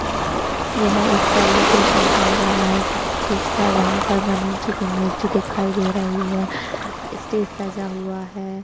यह एक सेलिब्रेशन चल रहा है किसी चीज का जहां पर गणेशजी की मूर्ति दिखाई दे रही है। स्टेज सजा हुआ है।